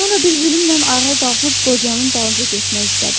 Sonra bir zülümnən ayağa qalxıb qocanın dalınca getmək istədi.